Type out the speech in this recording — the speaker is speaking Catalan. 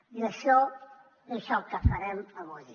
i això és el que farem avui